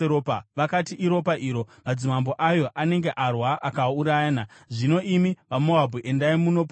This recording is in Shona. Vakati, “Iropa iro! Madzimambo ayo anenge arwa akaurayana. Zvino imi vaMoabhu endai munopamba!”